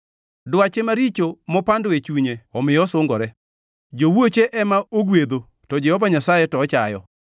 Dwache maricho mopando e chunye omiyo osungore; jowuoche ema ogwedho to Jehova Nyasaye to ochayo.